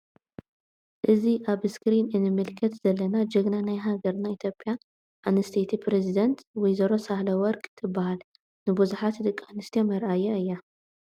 እዚ ኣብ እስክሪን እንምልከተ ዝለና ጀግና ና ሃገርና ኢትዮፕያ ኣንስትየቲ ፕሪዝደንት ወይዘሮ ሳህለ ወርቅ ትበሃል ።ንቡዝሓት ደቂ ኣንስትዮ መርኣያ እያ።